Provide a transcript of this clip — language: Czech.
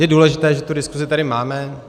Je důležité, že tu diskusi tady máme.